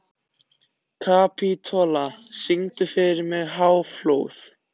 Kapitola, syngdu fyrir mig „Háflóð“.